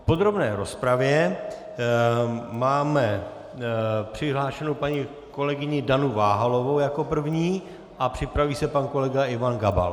V podrobné rozpravě máme přihlášenou paní kolegyni Danu Váhalovou jako první a připraví se pan kolega Ivan Gabal.